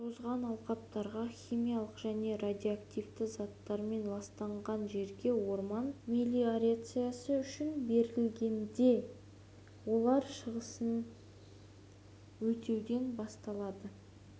тозған алқаптарға химиялық және радиоактивті заттармен ластанған жерге орман мелиорациясы үшін берілгенде олар шығасыны өтеуден босатылады